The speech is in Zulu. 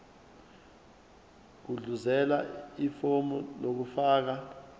gudluzela ifomu lokufaka